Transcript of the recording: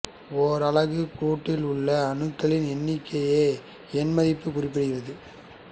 ஓர் அலகு கூட்டில் உள்ள அணுக்களின் எண்ணிக்கையை எண்மதிப்பு குறிப்பிடுகிறது